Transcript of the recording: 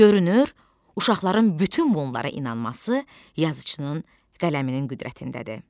Görünür, uşaqların bütün bunlara inanması yazıçının qələminin qüdrətindədir.